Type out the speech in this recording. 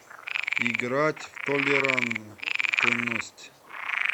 играть в толерантность